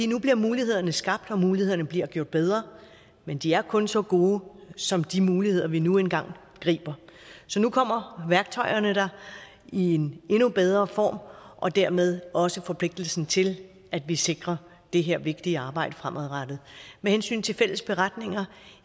nu bliver mulighederne skabt og mulighederne bliver gjort bedre men de er kun så gode som de muligheder vi nu engang griber så nu kommer værktøjerne i en endnu bedre form og dermed også forpligtelsen til at vi sikrer det her vigtige arbejde fremadrettet med hensyn til fælles beretninger